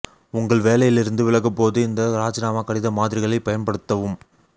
உங்கள் வேலையில் இருந்து விலகும்போது இந்த ராஜினாமா கடித மாதிரிகளை பயன்படுத்தவும்